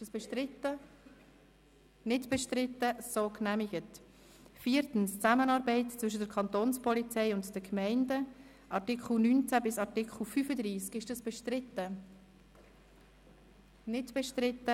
Das ist nun ungünstig, da die GPK mit ihrem Präsidenten Grossrat Siegenthaler gegenwärtig ausserhalb des Saals ist.